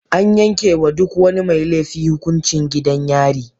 An yanke wa duk wani mai laifi hukuncin gidan yari.